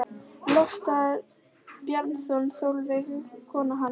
Loftur Bjarnason og Sólveig kona hans annan.